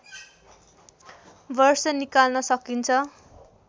वर्ष निकाल्न सकिन्छ